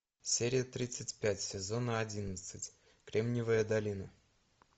серия тридцать пять сезона одиннадцать кремниевая долина